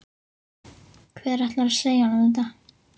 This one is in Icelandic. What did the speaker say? Hver ætlar að segja honum þetta?